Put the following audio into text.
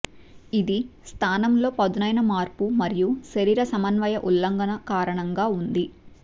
ఇది స్థానం లో పదునైన మార్పు మరియు శరీర సమన్వయ ఉల్లంఘన కారణంగా ఉంది